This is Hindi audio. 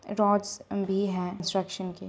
रोड्स भी हैं इंस्ट्रक्शन के--